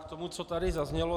K tomu, co tady zaznělo.